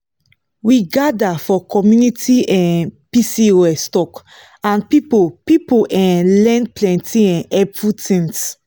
we gather for community um pcos talk and people people um learn plenty um helpful things.